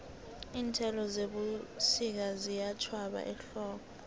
iinthelo zebusika ziyatjhwaba ehlobo